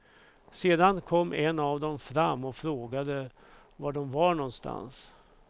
Sedan kom en av dem fram och frågade var de var någonstans.